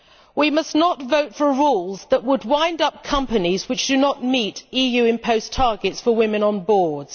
We must not vote for rules that would wind up companies failing to meet EU imposed targets for women on boards.